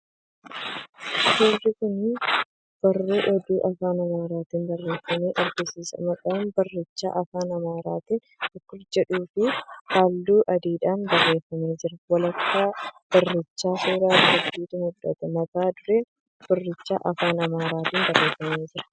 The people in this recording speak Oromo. Suurri kun barruu oduu afaan amaaraatiin barreeffame agarsiisa. Maqaan barrichaa afaan amaaraatiin "bakur" jedhuu fi halluu adiidhaan barreeffamee jira. Walakkaa barrichaa suura dubartiitu mul'ata. Mata dureen barrichaa afaan amaaraatiin barreeffamee jira.